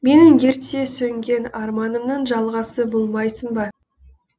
менің ерте сөнген арманымның жалғасы болмайсың ба